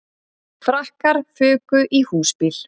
Frakkar fuku í húsbíl